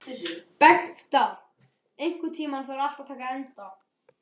Bengta, einhvern tímann þarf allt að taka enda.